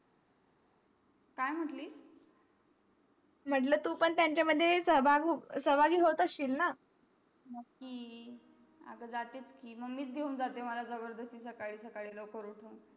काय म्हंटली मंहला तू पण तेंच्या मध्ये सह्भाह साहबगही होत अशील ना नाकी आगा झ्हातेच कि मम्मीच घेउन झ्हाले सकाळी सकाळी लवकर उठवून